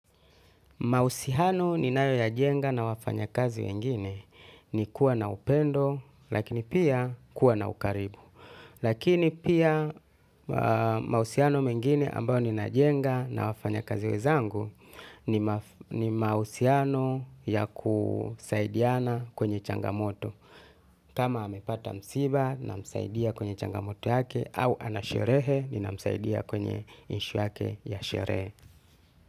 Mahusiano ni nayo ya jenga na wafanya kazi wengine ni kuwa na upendo lakini pia kuwa na ukaribu. Lakini pia mahusiano mengine ambao ni na jenga na wafanya kazi wezangu ni mahusiano ya kusaidiana kwenye changamoto. Kama amepata msiba na msaidia kwenye changamoto yake au ana sherehe ni na msaidia kwenye issue yake ya sherehe.